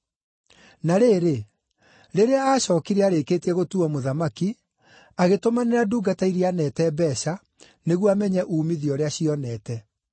“Na rĩrĩ, rĩrĩa aacookire arĩkĩtie gũtuuo mũthamaki, agĩtũmanĩra ndungata iria aaneete mbeeca, nĩguo amenye uumithio ũrĩa cionete.